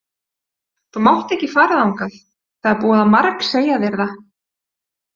Þú mátt ekki fara þangað, það er búið að margsegja þér það.